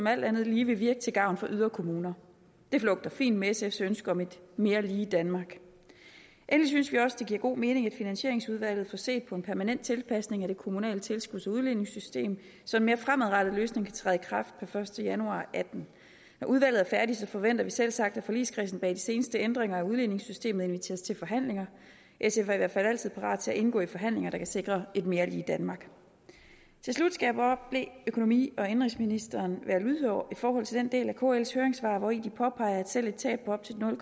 alt andet lige vil virke til gavn for yderkommuner det flugter fint med sfs ønske om et mere lige danmark endelig synes vi også det giver god mening at finansieringsudvalget får set på en permanent tilpasning af det kommunale tilskuds og udligningssystem så en mere fremadrettet løsning kan træde i kraft per første januar to og atten når udvalget er færdigt forventer vi selvsagt at forligskredsen bag de seneste ændringer af udligningssystemet inviteres til forhandlinger sf er i hvert fald altid parat til at indgå i forhandlinger der kan sikre et mere lige danmark til slut skal jeg bare bede økonomi og indenrigsministeren være lydhør i forhold til den del af kls høringssvar hvori de påpeger at selv et tab på op til